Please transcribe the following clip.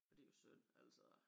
Og det jo synd altså